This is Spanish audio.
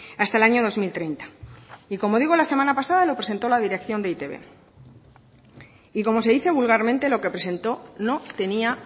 hasta el año dos mil treinta y como digo la semana pasada lo presentó la dirección de e i te be y como se dice vulgarmente lo que presentó no tenía